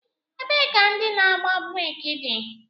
Ebee ka ndị na-agba breeki dị?